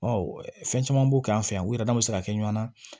fɛn caman b'u kan an fɛ yan u yɛrɛ damaw bɛ se ka kɛ ɲɔn na